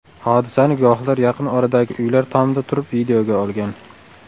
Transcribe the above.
Hodisani guvohlar yaqin oradagi uylar tomida turib videoga olgan.